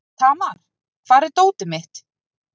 Tamar, hvar er dótið mitt?